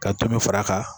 Ka tulu fara a kan